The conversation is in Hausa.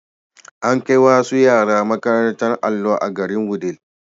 An kai wasu yara makarantar allo a garin Wudil.